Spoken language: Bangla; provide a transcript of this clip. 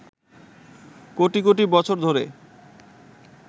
কোটি কোটি বছর ধরে